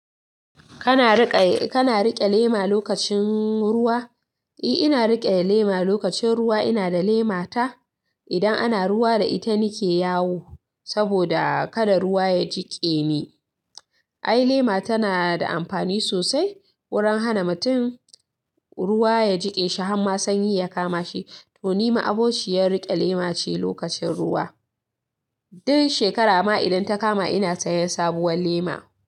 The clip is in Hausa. Kana riƙe, kana riƙe lema lokacin ruwa? I, ina riƙe lema lokacin ruwa. Ina da lema ta. Idan ana ruwa da ita nike yawo, saboda kada ruwa ya jiƙe ni. Ai lema tana da amfani sosai, wurin hana mutum ruwa ya jiƙe shi, har ma sanyi ya kama shi. To ni ma abokciyar riƙe lema ce lokacin ruwa. Duk shekara ma idan ta kama ina sayan sabuwar lema.